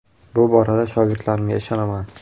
Bu borada shogirdlarimga ishonaman.